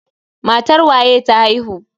Matar waye ta haihu?